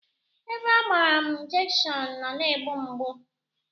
Ebe agbara m injekshon na-na-egbu mgbu